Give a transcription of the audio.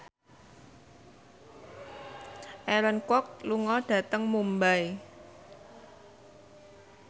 Aaron Kwok lunga dhateng Mumbai